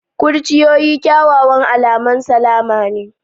Kurciyoyi kyawawan alamun salama ne.